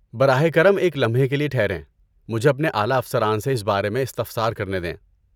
براہ کرم ایک لمحے کے لیے ٹھہریں۔ مجھے اپنے اعلیٰ افسران سے اس بارے میں استفسار کرنے دیں۔